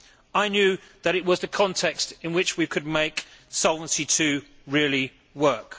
I knew that it was the context in which we could make Solvency II really work.